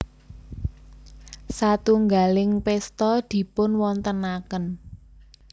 Satunggaling pésta dipunwontenaken